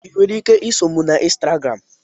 Ị nwere ike iso m na Instagramu?